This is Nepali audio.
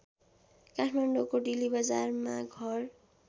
काठमाडौँको डिल्लीबजारमा घर